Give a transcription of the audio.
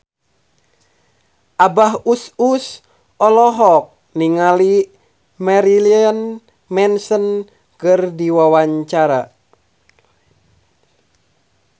Abah Us Us olohok ningali Marilyn Manson keur diwawancara